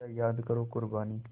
ज़रा याद करो क़ुरबानी